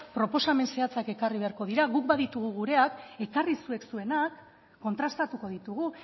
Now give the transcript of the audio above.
proposamen zehatzak ekarri beharko dira guk baditugu gureak ekarri zuek zuenak kontrastatuko ditugu